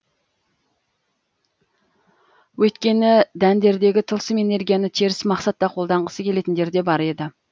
өйткені дәндердегі тылсым энергияны теріс мақсатта қолданғысы келетіндер де бар еді